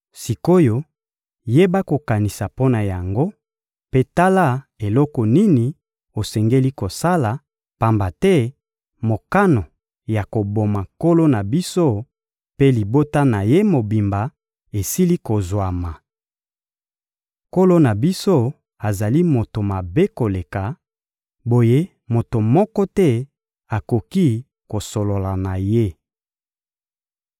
Sik’oyo, yeba kokanisa mpo na yango mpe tala eloko nini osengeli kosala, pamba te mokano ya koboma nkolo na biso mpe libota na ye mobimba esili kozwama. Nkolo na biso azali moto mabe koleka, boye moto moko te akoki kosolola na ye.»